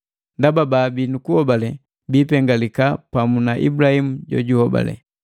Ndaba, baabii nukuhobale biipengalika pamu na Ibulahimu jojuhobale.